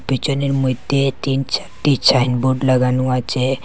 পিছনের মইধ্যে তিন চারটি ছাইনবোড লাগানো আছে।